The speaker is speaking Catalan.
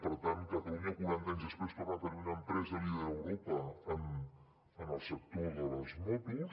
per tant catalunya quaranta anys després torna a tenir una empresa líder a europa en el sector de les motos